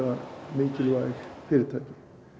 mikilvæg fyrirtæki